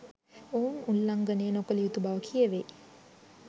ඔවුන් උල්ලංඝණය නොකළ යුතු බව කියවෙයි.